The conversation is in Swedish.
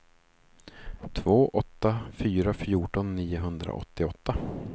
två åtta åtta fyra fjorton niohundraåttioåtta